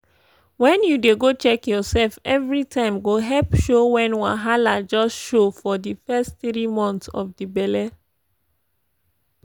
wen u dey go check your sef evri time go help show wen wahala just show for di fess tiri months of di belle